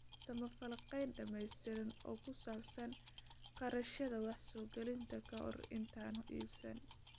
Samee falanqeyn dhamaystiran oo ku saabsan kharashyada wax soo gelinta ka hor intaadan iibsan.